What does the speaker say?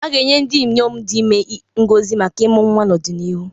A ga-enye ndị inyom dị ime ngọzi maka ịmụ nwa n'ọdịnihu.